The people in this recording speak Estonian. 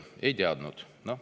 Ei teadnud.